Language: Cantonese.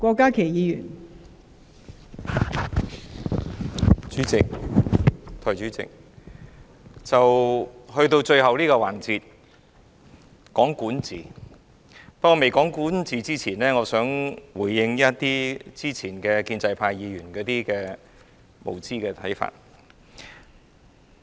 代理主席，到了最後這個環節，在未開始談論管治之前，我想回應建制派議員先前提出的無知看法。